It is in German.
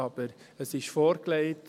Aber es ist vorgelegt.